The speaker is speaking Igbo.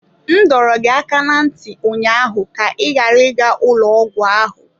M dọrọ gị aka ná ntị ụnyaahụ ka ị ghara ịga ụlọ ọgwụ ahụ!